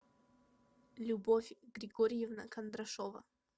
любовь григорьевна кондрашова